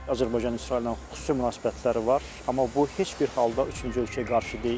Azərbaycanın İsraillə xüsusi münasibətləri var, amma bu heç bir halda üçüncü ölkəyə qarşı deyil.